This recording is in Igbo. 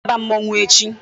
Ọ ga-aba mmọnwụ echi.